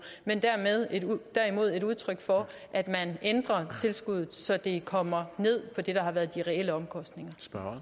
men derimod et udtryk for at man ændrer tilskuddet så det kommer ned på det der har været de reelle omkostninger